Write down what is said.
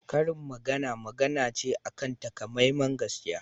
Karin magana magana ce akan takamaiman gaskiya